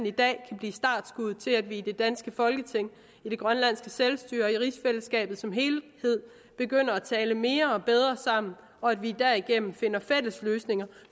i dag kan blive startskuddet til at vi i det danske folketing i det grønlandske selvstyre og i rigsfællesskabet som helhed begynder at tale mere og bedre sammen og at vi derigennem finder fælles løsninger